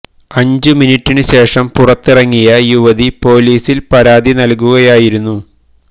അഞ്ച് മിനിറ്റിനു ശേഷം പുറത്തിറങ്ങിയ യുവതി പോലീസില് പരാതി നല്കുകയായിരുന്നു